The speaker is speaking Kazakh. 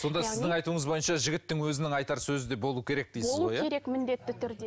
сонда сіздің айтуыңыз бойынша жігіттің өзінің айтар сөзі де болуы керек дейсіз керек міндетті түрде